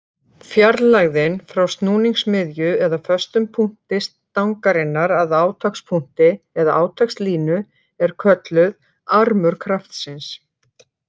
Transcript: Fjarlægðin frá snúningsmiðju eða föstum punkti stangarinnar að átakspunkti eða átakslínu er kölluð armur kraftsins.